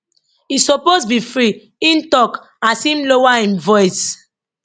e suppose be free im tok as im lower im voice